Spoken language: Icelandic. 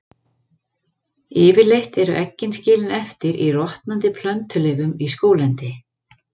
Yfirleitt eru eggin skilin eftir í rotnandi plöntuleifum í skóglendi.